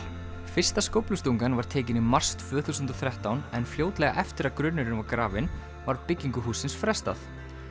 fyrsta skóflustungan var tekin í mars tvö þúsund og þrettán en fljótlega eftir að grunnurinn var grafinn var byggingu hússins frestað